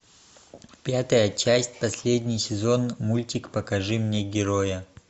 пятая часть последний сезон мультик покажи мне героя